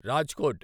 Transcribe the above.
Rajkot